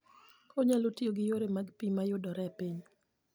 Onyalo tiyo gi yore mag pi ma yudore e piny.